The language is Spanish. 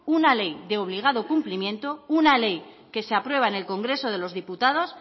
una ley de obligado cumplimiento una ley que se aprueba en el congreso de los diputados